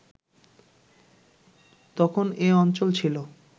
তখন এ অঞ্চল ছিল